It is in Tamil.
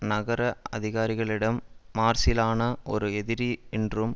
நகர அதிகாரிகளிடம் மார்சிலானா ஒரு எதிரி என்றும்